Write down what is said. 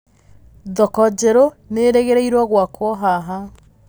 thoko njerũ nĩĩrĩgĩrĩirũo gwakũo haha